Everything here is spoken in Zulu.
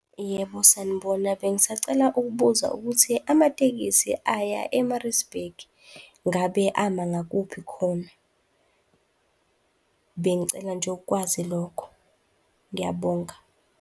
Yebo, sanibona, bengisacela ukubuza ukuthi amatekisi aya e-Maritzburg ingabe ama ngakuphi khona? Bengicela nje ukukwazi lokho. Ngiyabonga.